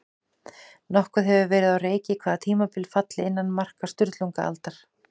Nokkuð hefur verið á reiki hvaða tímabil falli innan marka Sturlungaaldar.